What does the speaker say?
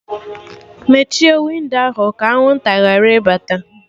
Mechie windo ahụ! ka anwụnta ghara ịbata